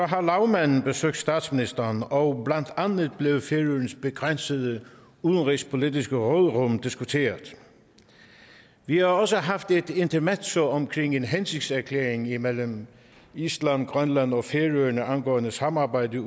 har lagmanden besøgt statsministeren og blandt andet blev færøernes begrænsede udenrigspolitiske råderum diskuteret vi har også haft et intermezzo omkring en hensigtserklæring imellem island grønland og færøerne angående samarbejdet